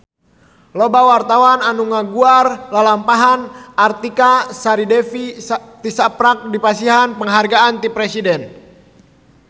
Loba wartawan anu ngaguar lalampahan Artika Sari Devi tisaprak dipasihan panghargaan ti Presiden